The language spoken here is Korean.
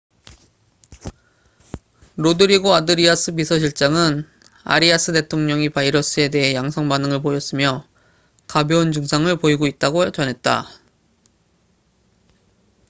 로드리고 아드리아스 비서실장은 아리아스 대통령이 바이러스에 대해 양성 반응을 보였으며 가벼운 증상을 보이고 있다고 전했다